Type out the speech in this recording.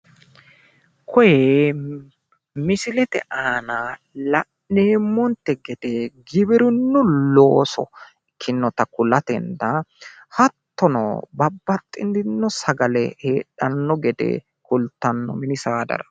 kuni misilete aana la'neemmonte gede giwirinnu looso ikkinota kulatenna hattono babaxxitino sagale heedhanno gede kultanno mini saadara.